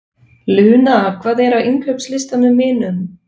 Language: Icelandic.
Luna, hvað er á innkaupalistanum mínum?